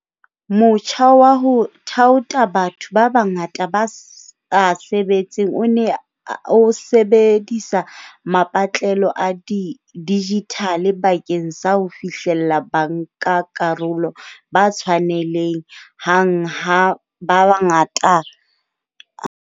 Motjha wa ho thaotha batho ba bangata ba sa sebetseng o ne o sebedisa mapatlelo a dijithale bakeng sa ho fihlella bankakarolo ba tshwanele hang ba bangata kamoo ho ka kgonehang.